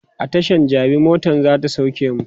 a Tashan jabi motan zata sauke mu